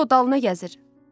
Məlikdə o dalına gəzir.